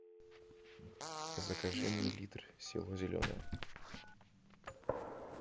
закажи мне литр село зеленое